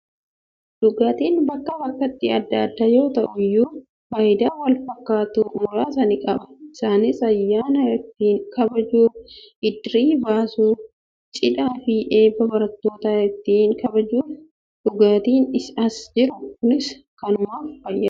Dhugaatiin bakkaa bakkatti adda adda yoo ta'e iyyuu, faayidaa wal fakkaatu muraasa ni qaba. Isaanis: ayyaana ittiin kabajuuf, iddirii baasuuf, cidhaa fi eebba barattootaa ittiin kabajuuf. Dhugaatiin as jiru kunis kanumaaf fayyada.